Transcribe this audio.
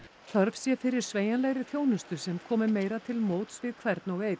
þörf sé fyrir sveigjanlegri þjónustu sem komi meira til móts við hvern og einn